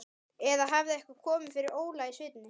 Eða hafði eitthvað komið fyrir Óla í sveitinni?